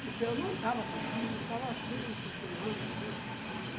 Porque eu não estava dormindo, eu estava assim, cochilando, assim. E...